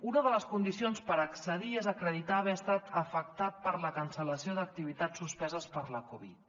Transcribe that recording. una de les condicions per accedir hi és acreditar haver estat afectat per la cancel·lació d’activitats suspeses per la covid